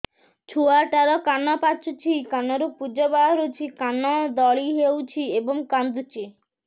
ଛୁଆ ଟା ର କାନ ପାଚୁଛି କାନରୁ ପୂଜ ବାହାରୁଛି କାନ ଦଳି ହେଉଛି ଏବଂ କାନ୍ଦୁଚି